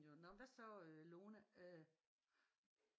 Jo nå men hvad så øh Lone øh